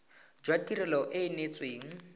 jwa tirelo e e neetsweng